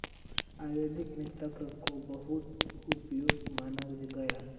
आयुर्वेद में तक्र को बहुत उपयोगी माना गया है